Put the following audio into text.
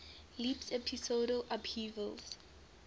leaps episodal upheavals